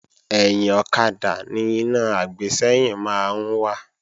Ẹ̀yìn ọ̀kadà ni iná àgbésẹ́yìn máa ń wà